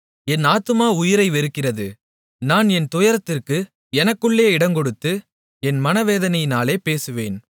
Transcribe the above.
என் ஆத்துமா உயிரை வெறுக்கிறது நான் என் துயரத்திற்கு எனக்குள்ளே இடங்கொடுத்து என் மனவேதனையினாலே பேசுவேன்